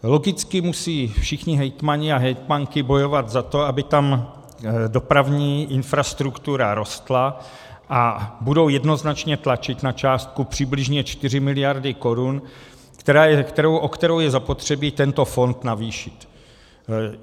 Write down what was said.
Logicky musí všichni hejtmani a hejtmanky bojovat za to, aby tam dopravní infrastruktura rostla, a budou jednoznačně tlačit na částku přibližně 4 miliardy korun, o kterou je zapotřebí tento fond navýšit.